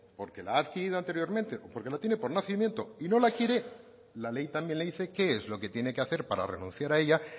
porque la ha adquirido anteriormente o la tiene por nacimiento y no la quiere la ley también le dice qué es lo que tiene que hacer para renunciar a ella